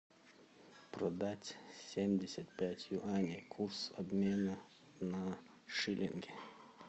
продать семьдесят пять юаней курс обмена на шиллинги